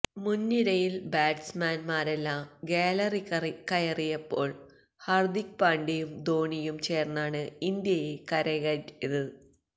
മുന്നിരയില് batsman മാരെല്ലാം gallery കയറിയപ്പോള് ഹര്ദിക് പാണ്ഡ്യയും ധോണിയും ചേര്ന്നാണ് ഇന്ത്യയെ കരകയറ്റിയത്